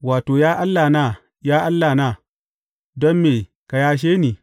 Wato, Ya Allahna, ya Allahna, don me ka yashe ni?